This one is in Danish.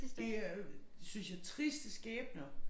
Det øh synes jeg triste skæbner